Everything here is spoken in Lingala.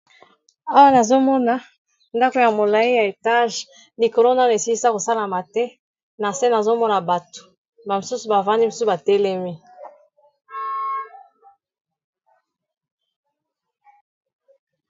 awa nazomona ndako ya molayi ya etage likolo nanu esilisa kosalama te na se nazomona bato bamisusu bavandi misu batelemi.